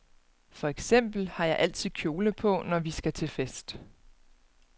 For eksempel har jeg altid kjole på, når vi skal til fest.